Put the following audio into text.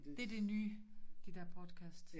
Det det nye de der podcasts